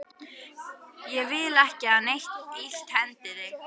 Ég vil ekki að neitt illt hendi þig.